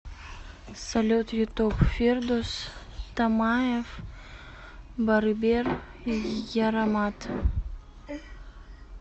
салют ютуб фирдус тамаев барыбер ярамат